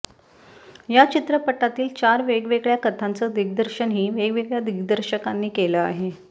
या चित्रपटातील चार वेगवेगळ्या कथांचं दिग्दर्शनही वेगवेगळ्या दिग्दर्शकांनी केलं आहे